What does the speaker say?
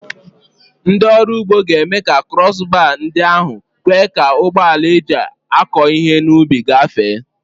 Ndị ọrụ ugbo ga-eme ka krọs baa ndị ahụ kwe ka ụgbọ ala eji akọ ihe n'ubi gafee.